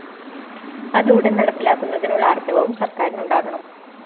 അത് ഉടന്‍ നടപ്പിലാക്കുന്നതിനുള്ള ആര്‍ജ്ജവവും സര്‍ക്കാരിനുണ്ടാകണം